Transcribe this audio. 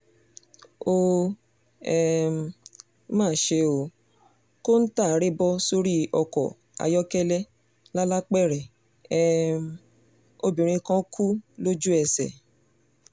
ó um má ṣe ó kọ́ńtà rẹ̀ bọ́ sórí ọkọ̀ ayọ́kẹ́lẹ́ lalápẹrẹ um obìnrin kan kú lójú-ẹsẹ̀